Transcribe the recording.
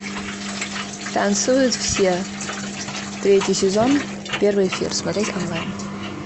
танцуют все третий сезон первый эфир смотреть онлайн